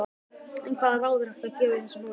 En hvaða ráð er hægt að gefa í þessu máli?